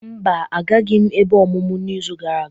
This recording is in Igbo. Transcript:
Mba, agaghịm ebe ọmụmụ izu gara aga.